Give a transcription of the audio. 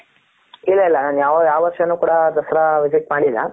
ಇಲ್ಲ ಇಲ್ಲ ನಾನು ಯಾವ ವರ್ಷನು ಕೂಡ ದಸರಾ visit ಮಾಡಿಲ್ಲ .